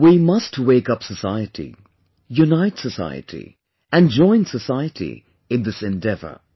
We must wake up the society, unite the society and join the society in this endeavour